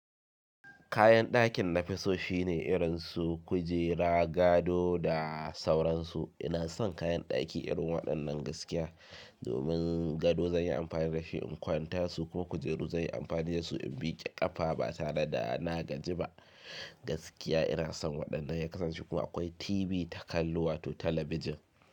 Kayan dakin nafi so shine irin su kujera, gado da sauransu. Ina son kayan daki irin waɗannan gaskiya. Domin gado zan yi amfani da shi in kwanta su ko kujeru zan yi amfani da su in miƙe ƙafa ba tare da na gaji ba. Gaskiya ina son waɗannan ya kasance kuma akwai TV takallo wato talabijin.